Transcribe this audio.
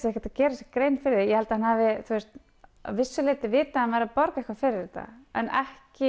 geri sér grein fyrir því ég held að hann hafi að vissu leyti vitað að hann var að borga fyrir þetta en ekki